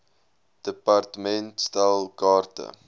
department stel kaarte